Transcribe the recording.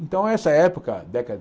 Então, essa época, década